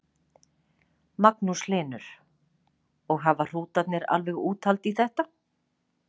Magnús Hlynur: Og hafa hrútarnir alveg úthald í þetta?